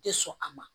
Tɛ sɔn a ma